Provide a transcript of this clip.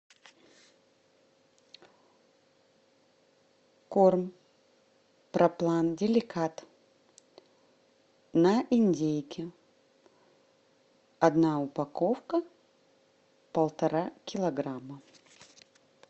корм проплан деликат на индейке одна упаковка полтора килограмма